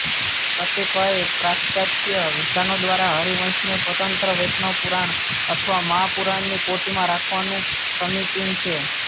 કતિપય પાશ્ચાત્ય વિદ્વાનો દ્વારા હરિવંશને સ્વતંત્ર વૈષ્ણવ પુરાણ અથવા મહાપુરાણની કોટિમાં રાખવાનું સમીચીન છે